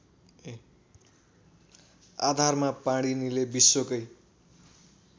आधारमा पाणिनीले विश्वकै